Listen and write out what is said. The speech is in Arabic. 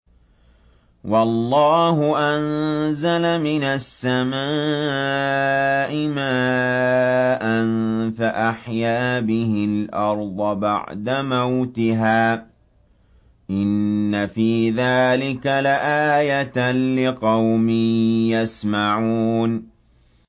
وَاللَّهُ أَنزَلَ مِنَ السَّمَاءِ مَاءً فَأَحْيَا بِهِ الْأَرْضَ بَعْدَ مَوْتِهَا ۚ إِنَّ فِي ذَٰلِكَ لَآيَةً لِّقَوْمٍ يَسْمَعُونَ